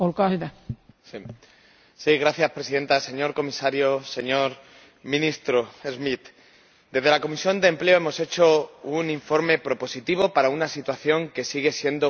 Señora Presidenta señor comisario, señor ministro Schmit, desde la Comisión de Empleo hemos hecho un informe propositivo para una situación que sigue siendo crítica.